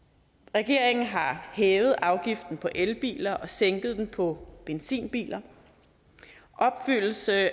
regeringen har hævet afgiften på elbiler og sænket den på benzinbiler opfyldelsen af